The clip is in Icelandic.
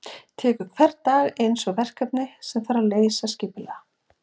Tekur hvern dag einsog verkefni sem þarf að leysa skipulega.